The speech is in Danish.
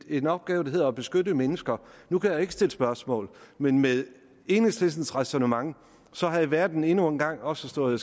en opgave der hedder at beskytte mennesker nu kan jeg ikke stille spørgsmål men med enhedslistens ræsonnement havde verden endnu en gang også stået